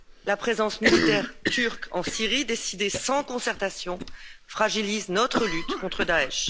La présence militaire turque en Syrie, décidée sans concertation, fragilise notre lutte contre Daech.